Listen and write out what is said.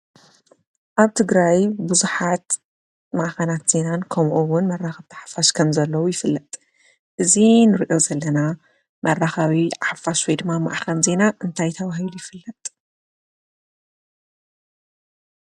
አብ ትግራይ ቡዙሓት ማእኸናት ዜና ከምኡ’ውን መራኸቢቲ ሓፋሽ ከም ዘለው ይፍለጥ። እዚ እንሪኦ ዘለና መራኸቢ ሓፋሽ ወይ ድማ ማእኸል ዜናን እንታይ ተባሂሉ ይፍለጥ።